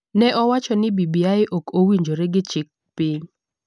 ne owacho ni BBI ok owinjore gi chik piny,